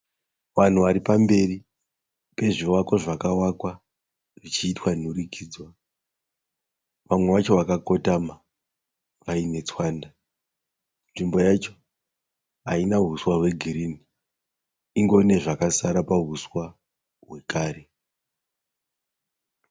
Vanhu vari pamberi pezvivako zvakavakwa zvichiitwa nhurikidzwa. Vamwe vacho vakakotama vaine tswanda. Nzvimbo yacho haina huswa hwegirini ingorine zvakasara pahuswa hwekare.